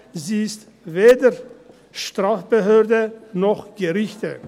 Sie ist weder Strafbehörde noch Gericht.